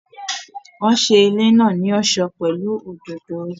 Wọ́n ṣe ilé náà ní ọ̀ṣọ́ pẹ̀lú òdòdó